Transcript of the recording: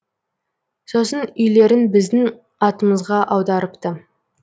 сосын үйлерін біздің атымызға аударыпты